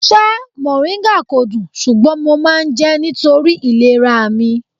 Ṣá mòríńgà kò dùn, ṣùgbọ́n mo máa ń jẹ́ nítorí ìlera mi.